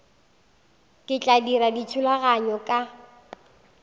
ke tla dira dithulaganyo ka